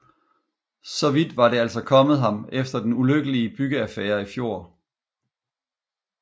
Så vidt var det altså kommet ham efter den ulykkelige byggeaffære i fjor